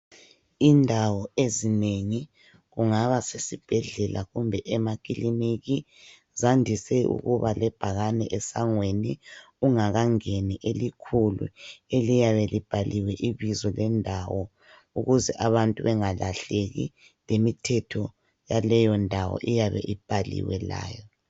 Indawo ezinengi kungaba sezibhedlela kumbe emaklinika zandise ukuba lebhakane amasangweni ungakangeni eliyabe libekiwe ibizo lendawo ukuze abantu benga lahleki lemithetho yaleyondawo iyabe ibhaliwe layo.